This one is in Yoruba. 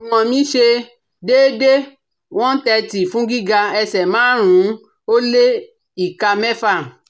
Ìwọ̀n mí ṣe déédé- ne thirty fún gíga ẹsẹ̀ márùn ún ó lé ìka mẹ́fà